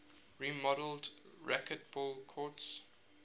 remodeled racquetball courts